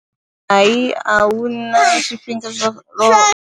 Hai, a hu na zwifhinga zwa.